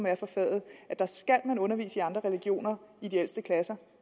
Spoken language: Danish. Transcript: er for faget skal undervises i andre religioner i de ældste klasser